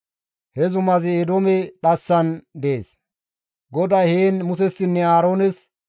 He zumazi Eedoome dhassan dees; GODAY heen Musessinne Aaroones,